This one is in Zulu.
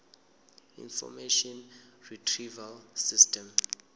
information retrieval system